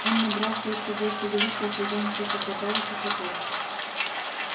он набрался ещё больше величия а хозяин всё хохотал и хохотал